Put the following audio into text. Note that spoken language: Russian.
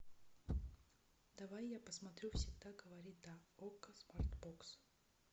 давай я посмотрю всегда говори да окко смарт бокс